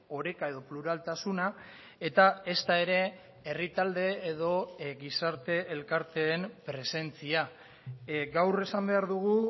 oreka edo pluraltasuna eta ezta ere herri talde edo gizarte elkarteen presentzia gaur esan behar dugu